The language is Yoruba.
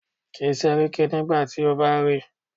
Kí Séríkí nígbà tí o bá ríi.